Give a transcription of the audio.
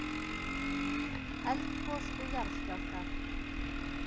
Eldgos og jarðskjálftar.